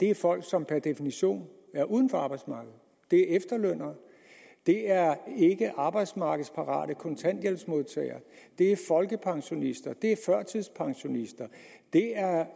er folk som per definition er uden for arbejdsmarkedet det er efterlønnere det er ikke arbejdsmarkedsparate kontanthjælpsmodtagere det er folkepensionister det